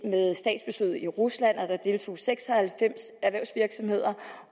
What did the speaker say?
ved statsbesøget i rusland at der deltog seks og halvfems erhvervsvirksomheder